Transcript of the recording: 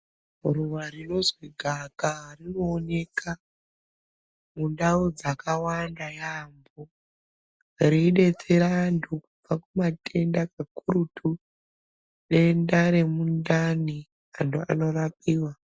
Ruwa rinozwi gaakaaa rinooneka mundau dzakawanda yaambo reidetsera antu kubva kumatenda kakurutu denda remundani anti anorapiwa.